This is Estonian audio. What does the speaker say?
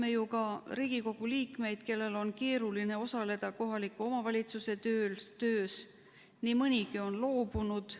Teame ju ka Riigikogu liikmeid, kellel on keeruline osaleda kohaliku omavalitsuse töös, nii mõnigi on loobunud.